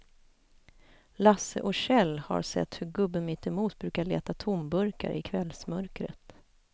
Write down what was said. Lasse och Kjell har sett hur gubben mittemot brukar leta tomburkar i kvällsmörkret.